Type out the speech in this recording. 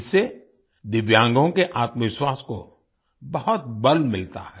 इससे दिव्यांगों के आत्मविश्वास को बहुत बल मिलता है